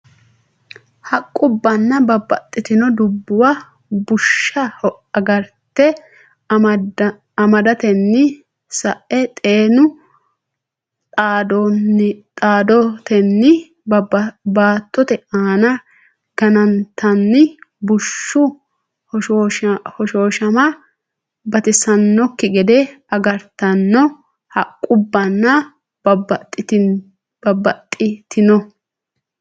Haqqubbanna babbaxxitino dubbuwa bushsha agarte amadatenni sa’e xeenu dhaaddotenni baattote aana ganatenni bushshu hoshoos- hama batisannokki gede gargartanno Haqqubbanna babbaxxitino.